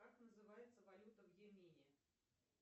как называется валюта в йемене